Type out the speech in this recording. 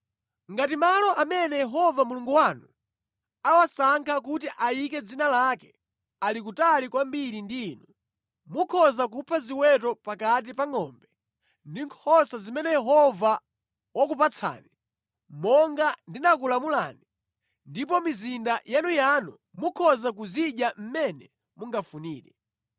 Ngati malo amene Yehova Mulungu wanu awasankha kuti ayike Dzina lake ali kutali kwambiri ndi inu, mukhoza kupha ziweto pakati pa ngʼombe ndi nkhosa zimene Yehova wakupatsani, monga ndinakulamulani, ndipo mʼmizinda yanuyanu mukhoza kuzidya mmene mungafunire.